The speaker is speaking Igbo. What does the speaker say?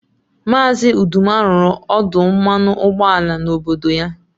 Maazị Uduma rụrụ ọdụ mmanụ ụgbọala n'obodo ya